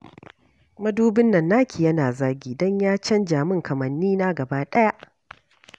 Mudubin nan naki yana zagi. Don ya canza min kamannina gabaɗaya